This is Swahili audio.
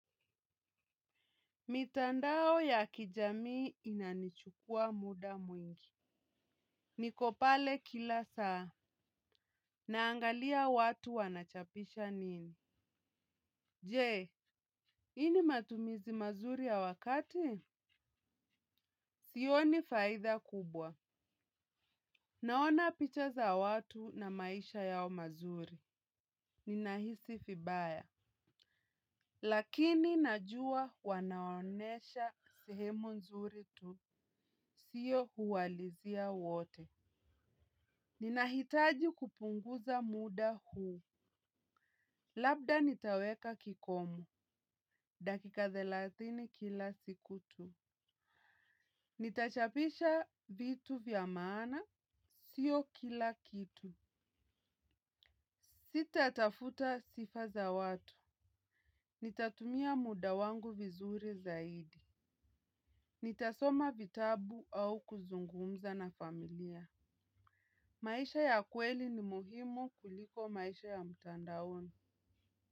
Mitandao ya kijamii inanichukua muda mwingi. Niko pale kila saa, naangalia watu wanachapisha nini. Je, hii ni matumizi mazuri ya wakati? Sioni faida kubwa. Naona picha za watu na maisha yao mazuri. Ninahisi vibaya, lakini najua wanaonesha sehemu nzuri tu. Sio kuwalizia wote. Ninahitaji kupunguza muda huu. Labda nitaweka kikomo, dakika thelathini kila siku tu. Nitachapisha vitu vya maana sio kila kitu. Sitatafuta sifa za watu. Nitatumia muda wangu vizuri zaidi. Nitasoma vitabu au kuzungumza na familia. Maisha ya kweli ni muhimu kuliko maisha ya mtandaoni.